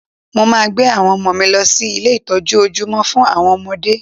Mo maa gbé àwọn ọmọ mi lọ sí ilé ìtọ́jú ojúmọ́ fún àwọn ọmọdé